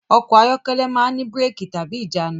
Ọkọ̀ ayọ́kẹ́lẹ̀ máa ń ní bírẹ́kì/ìjánu.